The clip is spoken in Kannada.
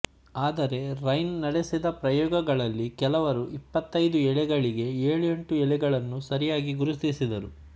ಆದರೆ ರ್ಹೈನ್ ನಡೆಸಿದ ಪ್ರಯೋಗಗಳಲ್ಲಿ ಕೆಲವರು ಇಪ್ಪತ್ತೈದು ಎಲೆಗಳಿಗೆ ಏಳು ಎಂಟು ಎಲೆಗಳನ್ನು ಸರಿಯಾಗಿ ಗುರುತಿಸಿದರು